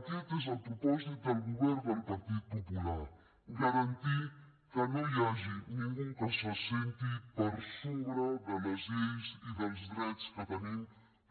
aquest és el propòsit del govern del partit popular garantir que no hi hagi ningú que se senti per sobre de les lleis i dels drets que tenim